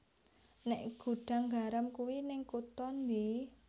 Nek Gudang Garam kui ning kuto ndi?